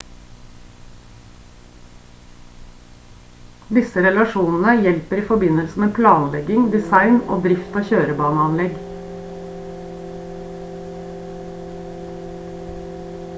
disse relasjonene hjelper i forbindelse med planlegging design og drift av kjørebaneanlegg